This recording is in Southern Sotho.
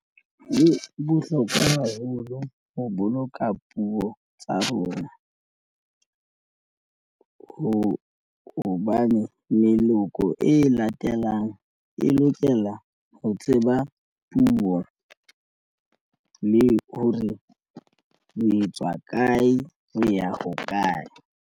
E bohlokwa haholo ho boloka puo tsa rona hobane meloko e latelang e lokela ho tseba puo le hore le tswa kae le ya hokae.